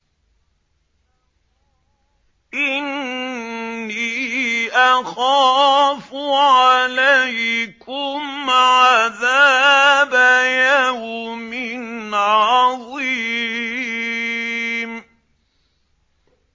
إِنِّي أَخَافُ عَلَيْكُمْ عَذَابَ يَوْمٍ عَظِيمٍ